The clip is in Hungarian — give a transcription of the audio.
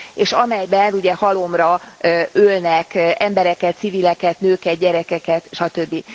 És amelyben ugye halomra ölnek embereket, civileket, nőket, gyerekeket stb.